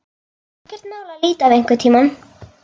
Ekkert mál að líta við einhvern tíma.